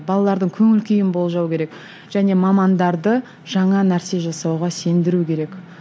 балалардың көңіл күйін болжау керек және мамандарды жаңа нәрсе жасауға сендіру керек